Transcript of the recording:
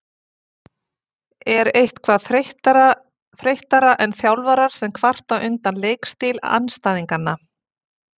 Er eitthvað þreyttara en þjálfarar sem kvarta undan leikstíl andstæðinganna?